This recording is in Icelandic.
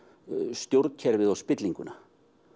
stjórnkerfið og spillinguna